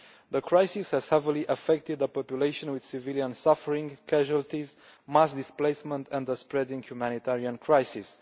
The crisis has heavily affected the population, with civilian suffering, casualties, mass displacement and a spreading humanitarian crisis.